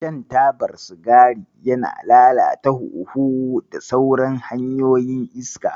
Shan tabar sigari yana lalata hunhu da sauran hanyoyin iska.